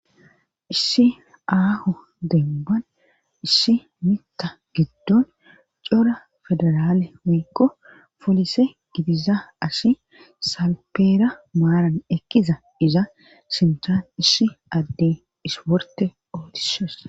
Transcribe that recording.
issi aaho demban issi mita giddon cora federaale wiikko polise gidiza asi salpeera maaran ekkiza iza sintan issi adde is worte ootisos